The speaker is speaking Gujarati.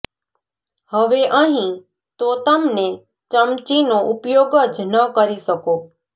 હવે અહીં તો તમને ચમચીનો ઉપયોગ જ ન કરી શકો